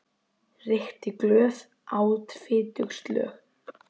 Reykti glöð, át fitug slög.